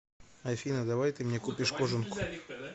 афина давай ты мне купишь кожанку